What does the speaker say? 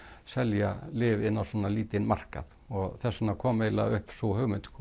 selja lyf inn á svona lítinn markað og þess vegna kom eiginlega upp sú hugmynd